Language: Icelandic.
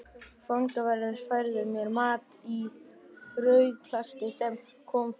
Fangaverðir færðu mér mat í frauðplasti sem kom frá